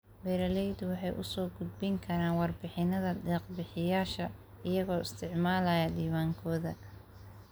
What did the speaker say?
Beeraleydu waxay u soo gudbin karaan warbixinnada deeq-bixiyeyaasha iyagoo isticmaalaya diiwaankooda.